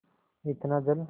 इतना जल